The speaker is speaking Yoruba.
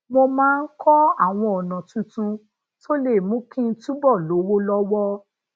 mo máa ń kó àwọn ona tuntun tó lè mú kí n túbò lówó lówó